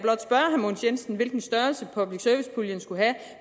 mogens jensen hvilken størrelse public service puljen skulle have